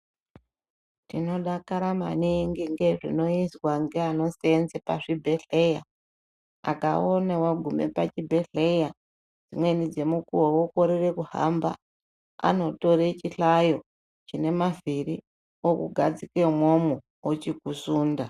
Tinodakara maningi ngezvinoizwa nge ano senza pa zvi bhedhleya akaona wagume pa chi bhedhleya dzimweni dzemukuwo wokorere kuhamba anotore chi hlayo chine mavhiri uku gadzike imwomwo ochiku sunda.